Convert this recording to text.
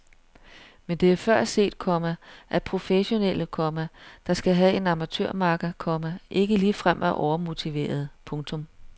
Men det er før set, komma at professionelle, komma der skal have en amatørmakker, komma ikke ligefrem er overmotiverede. punktum